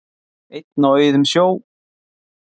Einn á auðum sjó